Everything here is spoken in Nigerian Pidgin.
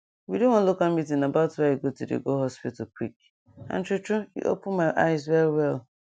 we do one local meeting about why e good to go hospital quick and true true e open my eyes well well